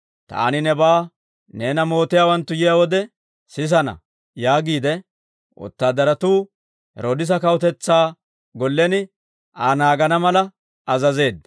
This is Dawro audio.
«Taani nebaa neena mootiyaawanttu yiyaa wode sisana» yaagiide, wotaadaratuu Heroodisa kawutetsaa gollen Aa naagana mala azazeedda.